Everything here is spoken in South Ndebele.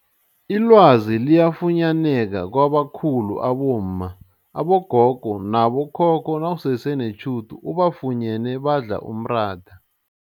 Ilwazi liyafunyaneka kwabakhulu abomma, abogogo nabo khokho nawusese netjhudu ubafunyene badla umratha.